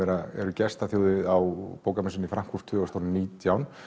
eru gestaþjóð á bókamessunni í Frankfurt tvö þúsund og nítján